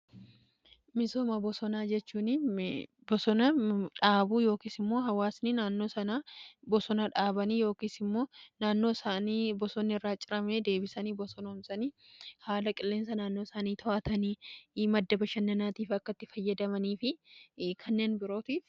Misooma bosonaa jechuun bosona dhaabuu yookiis immoo hawaasni naannoo sana bosona dhaabanii yookis immoo naannoosaaanii bosonni irraa cirame deebisanii bosonoomsanii haala qilleensa naannoo isaanii to'atanii madda bashannanaatiif akkatti fayyadamanii fi kanneen birootiif.